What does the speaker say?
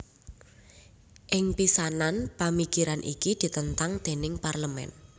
Ing pisanan pamikiran iki ditentang déning Parlemen